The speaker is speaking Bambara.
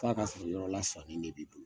F'a ka sɔrɔ yɔrɔ lasanen de b'i bolo